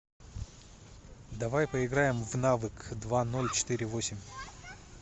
давай поиграем в навык два ноль четыре восемь